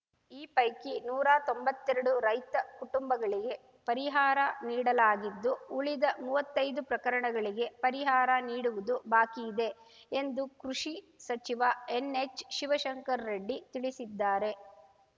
ಈ ಪೈಕಿ ನೂರಾ ತೊಂಬತ್ತೆರಡು ರೈತ ಕುಟುಂಬಗಳಿಗೆ ಪರಿಹಾರ ನೀಡಲಾಗಿದ್ದು ಉಳಿದ ಮೂವತ್ತೈದು ಪ್ರಕರಣಗಳಿಗೆ ಪರಿಹಾರ ನೀಡುವುದು ಬಾಕಿಯಿದೆ ಎಂದು ಕೃಷಿ ಸಚಿವ ಎನ್‌ಎಚ್‌ ಶಿವಶಂಕರ ರೆಡ್ಡಿ ತಿಳಿಸಿದ್ದಾರೆ